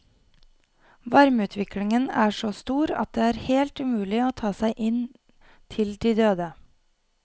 Varmeutviklingen er så stor at det er helt umulig å ta seg inn til de døde.